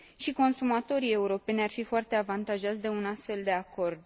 Și consumatorii europeni ar fi foarte avantajați de un astfel de acord.